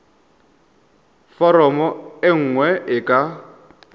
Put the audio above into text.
foromo e nngwe e ka